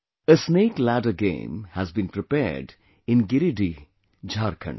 A snakeladder game has been prepared in Giridih, Jharkhand